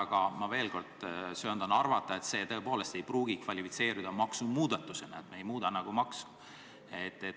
Aga ma veel kord söandan arvata, et see ei pruugi kvalifitseeruda maksumuudatusena, me ei muuda nagu maksu.